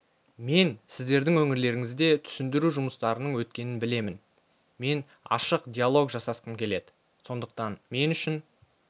мен сіздердің өңірлеріңізде түсіндіру жұмыстарының өткенін білемін мен ашық диалог жасасқым келеді сондықтан мен үшін